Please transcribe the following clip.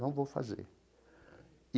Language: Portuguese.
Não vou fazer.